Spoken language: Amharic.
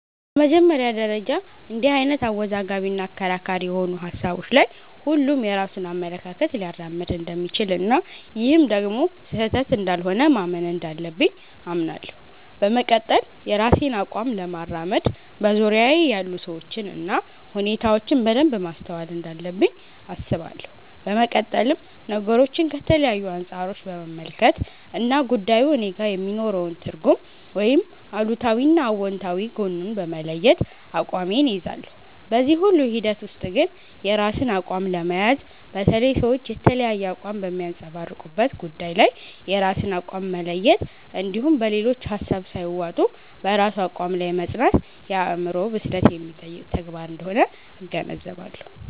በመጀመሪያ ደረጃ እንድህ አይነት አወዛጋቢ እና አከራካሪ የሆኑ ሀሳቦች ላይ ሁሉም የራሱን አመለካከት ሊያራምድ እንደሚችል እና ይህም ደግሞ ስህተት እንዳልሆነ ማመን እንዳለብኝ አምናለሁ። በመቀጠል የራሴን አቋም ለማራመድ በዙርያየ ያሉ ሰዎችን እና ሁኔታዎችን በደንብ ማስተዋል እንዳለብኝ አስባለሁ። በመቀጠልም ነገሮችን ከተለያዩ አንፃሮች በመመልከት እና ጉዳዩ እኔጋ የሚኖረውን ትርጉም ወይም አሉታዊ እና አውንታዊ ጎኑን በመለየት አቋሜን እይዛለሁ። በዚህ ሁሉ ሂደት ውስጥ ግን የራስን አቋም ለመያዝ፣ በተለይ ሰዎች የተለያየ አቋም በሚያንፀባርቁበት ጉዳይ ላይ የራስን አቋም መለየት እንድሁም በሌሎች ሀሳብ ሳይዋጡ በራስ አቋም ላይ መፅናት የአዕምሮ ብስለት የሚጠይቅ ተግባር አንደሆነ እገነዘባለሁ።